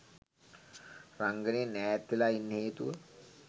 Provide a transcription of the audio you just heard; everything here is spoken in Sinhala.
රංගනයෙන් ඈත් වෙලා ඉන්න හේතුව